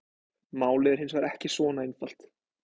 Málið er hins vegar ekki svona einfalt.